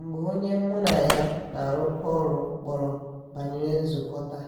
mgbe onye mura ya na arụko ọrụ kpọrọ banyere nzukọta